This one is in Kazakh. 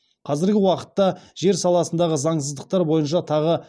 қазіргі уақытта жер саласындағы заңсыздықтар бойынша тағы